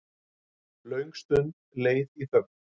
Löng stund leið í þögn.